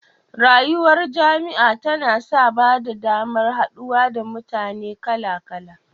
Rayuwar jami'a tana sa ba da damar haɗuwa da mutane kaka-kala